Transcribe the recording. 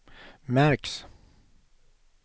märks